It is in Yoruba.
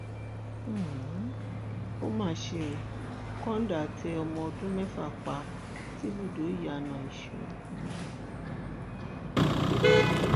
um ó mà ṣe ó kọńdà tẹ um ọmọọdún mẹfà pa síbùdókọ ìyànà ìṣọ